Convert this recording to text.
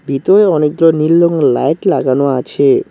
ভিতরে অনেকগুলা নীল রঙ লাইট লাগানো আছে।